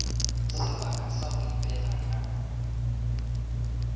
sebaka sa go ipega ka